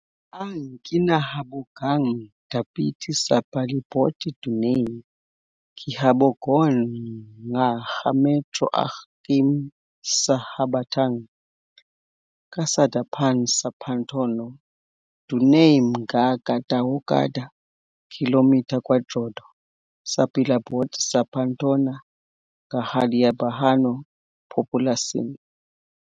Ang kinahabogang dapit sa palibot dunay gihabogon nga ka metro ug km sa habagatan-kasadpan sa Pantano. Dunay mga ka tawo kada kilometro kwadrado sa palibot sa Pantano nga hilabihan populasyon.